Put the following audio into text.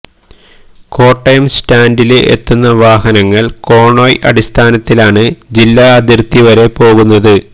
കോട്ടയം സ്റ്റാഡില് എത്തുന്ന വാഹനങ്ങള് കോണ്വോയ് അടിസ്ഥാനത്തിലാണ് ജില്ലാ അതിര്ത്തി വരെ പോകുന്നത്